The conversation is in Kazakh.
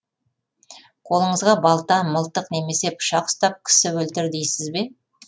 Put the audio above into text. қолыңызға балта мылтық немесе пышақ ұстап кісі өлтір дейсіз бе